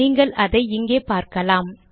நீங்கள் அதை இங்கே பார்க்கலாம்